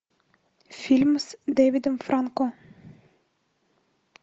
фильм с дэвидом франко